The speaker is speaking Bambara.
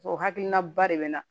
O hakilina ba de bɛ na